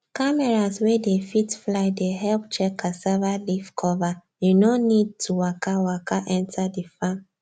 cameras wey dey fit fly dey help check cassava leaf cover you no need to waka waka enter the farm